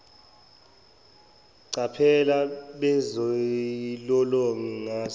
chapel bezilolonga ngase